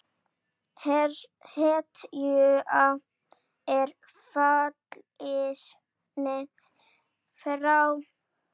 Hetja er fallin frá!